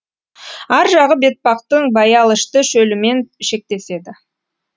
ар жағы бетпақтың баялышты шөлімен шектеседі